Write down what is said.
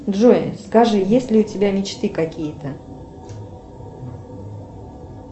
джой скажи есть ли у тебя мечты какие то